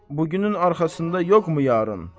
Bu günün arxasında yoxmu yarın?